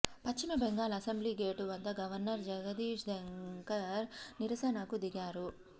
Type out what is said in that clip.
పశ్చిమ Bengal assembly gate వద్ద governor Jagdeep Dhankhar నిరసనకు దిగారు